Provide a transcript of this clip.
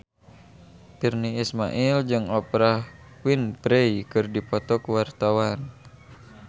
Virnie Ismail jeung Oprah Winfrey keur dipoto ku wartawan